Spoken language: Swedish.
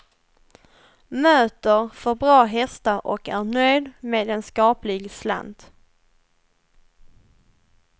Möter för bra hästar och är nöjd med en skaplig slant.